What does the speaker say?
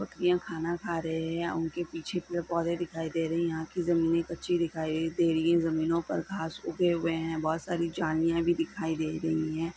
बकरिया खाना खा रहे है| उनके पीछे पेड़ पौधे दिखाई दे रही है| यहां की जमीने कच्ची दीखाई दे रही है| ज़मीनों पर घास उगे हुए है| बहोत सारी झड़िया भी दिखाई दे रही है।